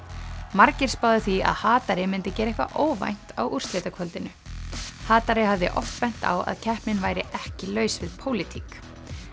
margir spáðu því að myndi gera eitthvað óvænt á úrslitakvöldinu hatari hafði oft bent á að keppnin væri ekki laus við pólitík